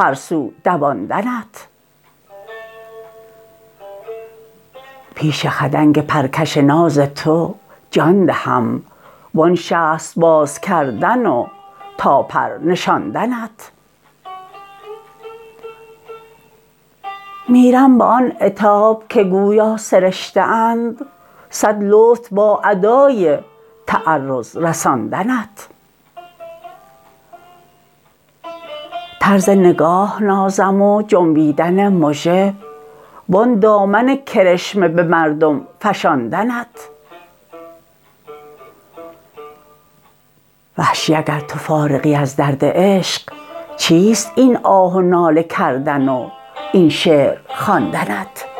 هر سو دواندنت پیش خدنگ پرکش ناز تو جان دهم وان شست باز کردن و تا پر نشاندنت میرم به آن عتاب که گویا سرشته اند سد لطف با ادای تعرض رساندنت طرز نگاه نازم و جنبیدن مژه وان دامن کرشمه به مردم فشاندنت وحشی اگر تو فارغی از درد عشق چیست این آه و ناله کردن و این شعر خواندنت